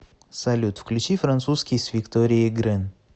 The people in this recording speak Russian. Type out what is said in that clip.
салют включи французский с викторией грэн